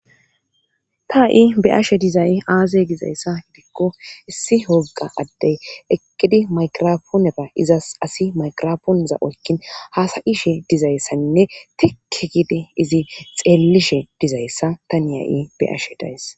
ta ha7i be ashe dizay aaze gizayssa hidikko issi hogga addey eqqidi makrafooneba izas asi maykrapooneza oykkin hasayishe dizayssaninne tike gidi izi xeellishe dizayssa ta niya7i be ashe days